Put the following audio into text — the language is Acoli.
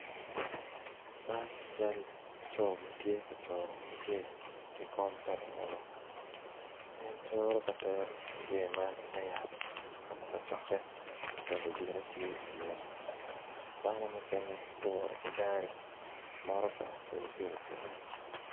Man cal laco ma tye ka curo mujee ki kom pa lungolo en coro ka tero mujee man ite yat kama kacokke pa lutite tye iye dano mukene guwoto ki gari motoka kede pikipiki